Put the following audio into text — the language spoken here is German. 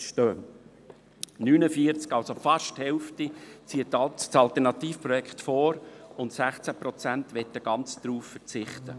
49 Prozent – also fast die Hälfte – ziehen das Alternativprojekt vor, und 16 Prozent möchten ganz darauf verzichten.